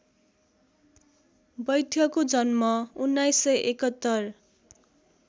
वैद्यको जन्म १९७१